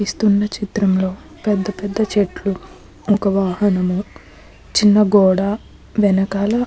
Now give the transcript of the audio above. ఇస్తున్న చిత్రంలో పెద్దపెద్ద చెట్లు ఒక వాహనము చిన్న గోడ వెనకాల --